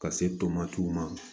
Ka se tomatiw ma